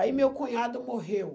Aí meu cunhado morreu.